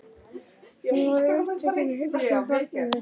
Hún verður svo upptekin af að hugsa um barnið.